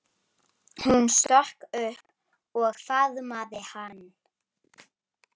Hún stökk upp og faðmaði hann.